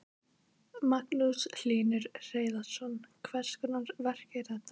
Magnús Hlynur Hreiðarsson: Hvers konar verk er þetta?